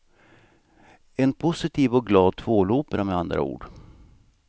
En positiv och glad tvålopera med andra ord.